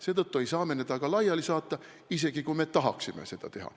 Seetõttu ei saa me teda ka laiali saata, isegi kui me tahaksime seda teha.